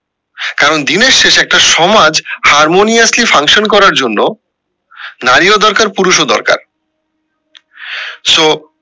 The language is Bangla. কারণ দিনের শেষে একটা সমাজ harmoniously function করার জন্য নারী ও দরকার পুরুষ ও দরকার সো